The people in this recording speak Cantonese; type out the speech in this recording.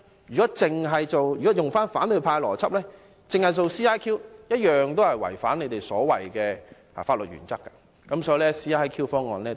如果按照反對派的邏輯，只是使用 CIQ 安排，同樣會違反他們所謂的法律原則，所以 CIQ 方案同樣不夠好。